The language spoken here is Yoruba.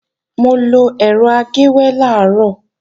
Mo lọ ẹ̀rọ agéwé làárọ̀